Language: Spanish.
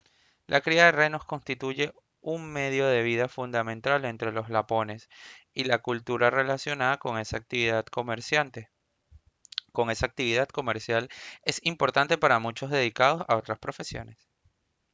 la cría de renos constituye un medio de vida fundamental entre los lapones y la cultura relacionada con esa actividad comercial es importante para muchos dedicados a otras profesiones